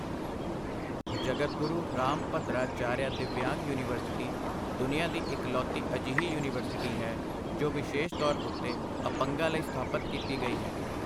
ਜਗਦਗੁਰੂ Rambhadracharya Divyang university ਦੁਨੀਆ ਦੀ ਇਕਲੌਤੀ ਅਜਿਹੀ ਯੂਨੀਵਰਸਿਟੀ ਹੈ, ਜੋ ਵਿਸ਼ੇਸ਼ ਤੌਰ ਉੱਤੇ ਅਪੰਗਾਂ ਲਈ ਸਥਾਪਿਤ ਕੀਤੀ ਗਈ ਹੈ।